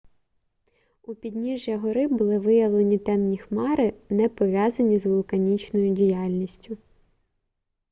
у підніжжя гори були виявлені темні хмари не пов'язані з вулканічною діяльністю